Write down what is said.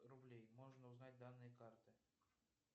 рублей можно узнать данные карты